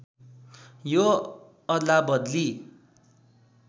यो अदलाबदली